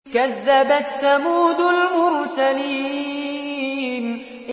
كَذَّبَتْ ثَمُودُ الْمُرْسَلِينَ